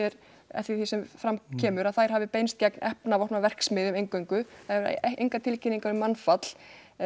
því sem fram kemur að þær hafi beinst gegn eingöngu það eru engar tilkynningar um mannfall